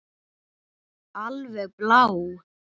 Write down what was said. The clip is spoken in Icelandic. Alveg blá.